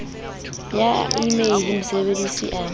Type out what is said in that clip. ya e mail mosebedisi a